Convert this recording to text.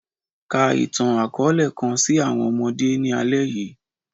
Ka itan-akọọlẹ kan si awọn ọmọde ni alẹ yii